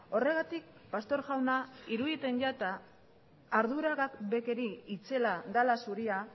horregatik pastor jauna iruditen jata arduragabekeri itzela dela zuria